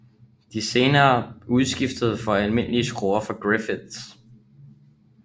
De blev senere udskiftet med almindelige skruer fra Griffiths